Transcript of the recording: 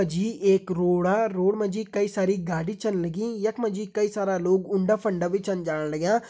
यख मा जी एक रोडा रोड मा जी कई सारी गाड़ी छन लगीं यख मा जी कई सारा लोग उंडा फंडा भी छन जाण लग्यां।